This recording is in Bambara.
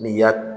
N'i y'a